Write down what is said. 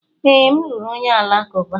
Ee, m lụrụ onye Alakụba.